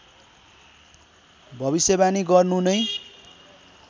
भविष्यवाणी गर्नु नै